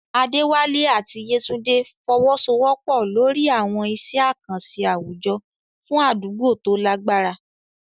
Adewale àti Yetunde fọwọ́sowọ́pọ̀ lórí àwọn iṣẹ́ àkànṣe àwùjọ fún àdúgbò tó lágbára.